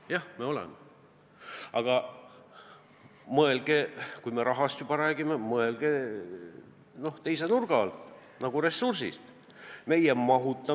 Jah, elame, aga kui me rahast räägime, siis mõelge rahast teise nurga alt, mõelge rahast nagu ressursist!